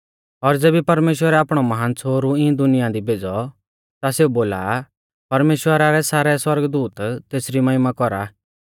और ज़ेबी परमेश्‍वरै आपणौ महान छ़ोहरु इऐं दुनिया दी भेज़ौ ता सेऊ बोला आ परमेश्‍वरा रै सारै सौरगदूत तेसरी महिमा कौरा